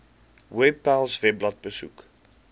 webpals webblad besoek